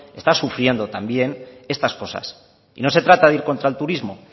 están sufriendo también estas cosas y no se trata de ir contra el turismo